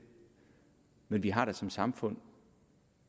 men vi har da som samfund